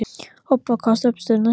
Obba, hvaða stoppistöð er næst mér?